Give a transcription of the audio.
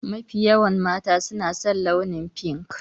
Mafi yawan mata su na san launin fink.